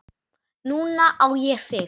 Núna á ég þig.